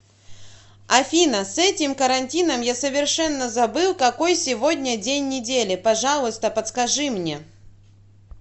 афина с этим карантином я совершенно забыл какой сегодня день недели пожалуйста подскажи мне